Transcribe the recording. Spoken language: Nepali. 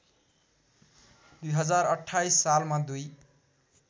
२०२८ सालमा दुई